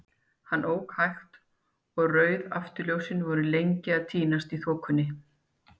Hann ók hægt, og rauð afturljósin voru lengi að týnast í þokunni.